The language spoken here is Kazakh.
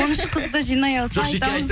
он үш қызды жинай алса айтамыз